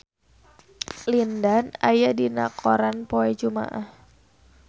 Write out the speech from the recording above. Lin Dan aya dina koran poe Jumaah